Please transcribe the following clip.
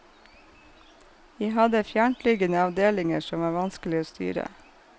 Vi hadde fjerntliggende avdelinger som var vanskelige å styre.